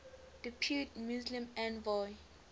depute muslim envoy